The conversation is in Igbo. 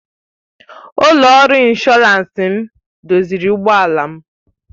Ụlọ ọrụ ịnshọransị m doziri ụgbọ ala m